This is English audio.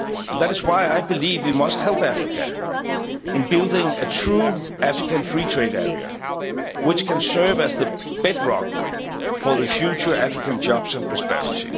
Africa. That is why I believe we must help Africa in building a true African free trade area which can serve as the bedrock for future African jobs and prosperity.